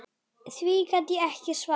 Því gat ég ekki svarað.